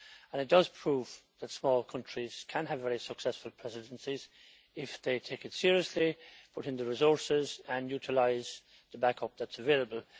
It does prove that small countries can have very successful presidencies if they take it seriously, put in the resources and utilise the back up that is available.